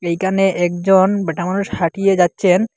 এখানে একজন ব্যাটামানুষ হাঁটিয়ে যাচ্ছেন।